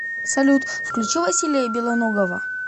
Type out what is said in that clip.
салют включи василия белоногова